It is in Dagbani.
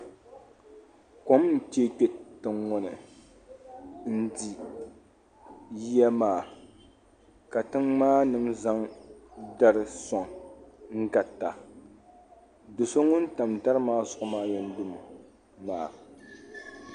Kom n chɛɛ kpɛ tiŋ ŋɔ ni ndi yiya maa ka tiŋ maa nima zaŋ datrllri suaŋ n garita do so ŋuni tam dariaa zuɣu maa yɛn lu mi mi maa.